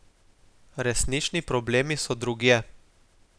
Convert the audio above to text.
Resnični problemi so drugje.